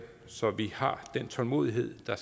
så vi har den tålmodighed der